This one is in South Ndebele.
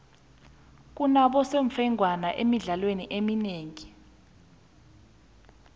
kunabosemfengwana emidlalweni eminengi